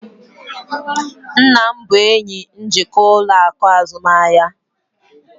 nna m bụ enyi onye njikwa ụlọ akụ azụmahịa